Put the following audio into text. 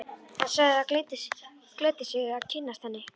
Hann sagði það gleddi sig að kynnast henni.